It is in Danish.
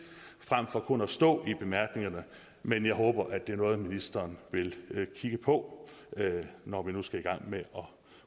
frem for kun at stå i bemærkningerne men jeg håber at det er noget ministeren vil kigge på når vi nu skal i gang med